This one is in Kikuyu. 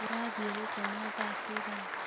Ũrathire gũkoma thaa cigana?